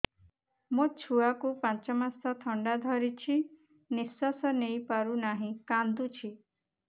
ମୋ ଛୁଆକୁ ପାଞ୍ଚ ମାସ ଥଣ୍ଡା ଧରିଛି ନିଶ୍ୱାସ ନେଇ ପାରୁ ନାହିଁ କାଂଦୁଛି